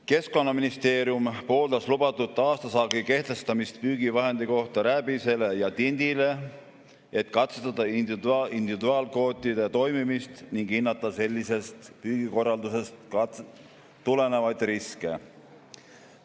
Keskkonnaministeerium pooldas lubatud aastasaagi kehtestamist püügivahendi kohta rääbisele ja tindile, et katsetada individuaalkvootide toimimist ning hinnata sellisest püügikorraldusest tulenevaid riske.